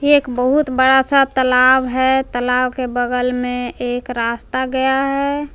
एक बहुत बड़ा सा तलाब है तलाब के बगल मे एक रास्ता गया है।